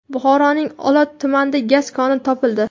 Buxoroning Olot tumanida gaz koni topildi .